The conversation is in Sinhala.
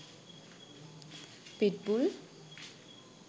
pit bull